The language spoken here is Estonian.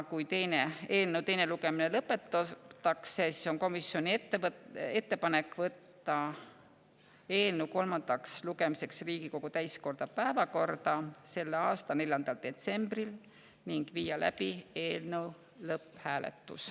Kui eelnõu teine lugemine lõpetatakse, siis on komisjoni ettepanek võtta eelnõu kolmandaks lugemiseks Riigikogu täiskogu päevakorda selle aasta 4. detsembril ning viia läbi eelnõu lõpphääletus.